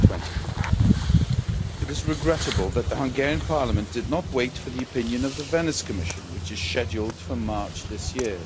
2020. It is regrettable that the Hungarian Parliament did not wait for the opinion of the Venice Commission, which is scheduled for March this year.